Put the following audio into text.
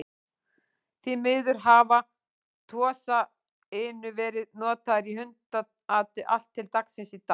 Því miður hafa Tosa Inu verið notaðir í hundaati allt til dagsins í dag.